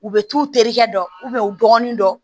U bɛ t'u terikɛ dɔ dɔgɔninw dɔn